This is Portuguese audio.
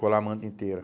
Colar a manta inteira.